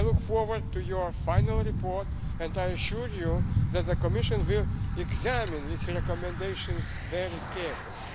I look forward to your final report and I assure you that the Commission will examine each recommendation very